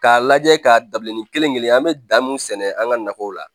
K'a lajɛ k'a dabila nin kelen kelen an be dan mun sɛnɛ an ga nakɔw la